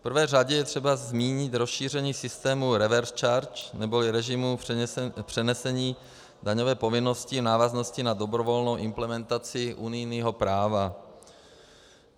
V prvé řadě je třeba zmínit rozšíření systému reverse charge neboli režimu přenesení daňové povinnosti v návaznosti na dobrovolnou implementaci unijního práva.